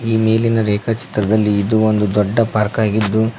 ಈ ಮೇಲಿನ ರೇಖಾಚಿತ್ರದಲ್ಲಿ ಇದು ಒಂದು ದೊಡ್ಡ ಪಾರ್ಕಾಗಿದ್ದು--